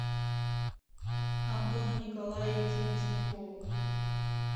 антону николаевичу вишнякову